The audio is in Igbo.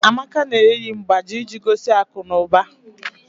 Amaka na-eyi mgbájí iji gosi akụnụba